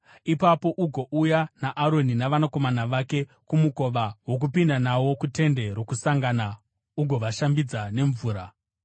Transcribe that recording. Ipapo ugouya naAroni navanakomana vake kumukova wokupinda nawo kuTende Rokusangana ugovashambidza nemvura.